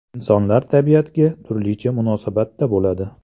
Insonlar tabiatga turlicha munosabatda bo‘ladi.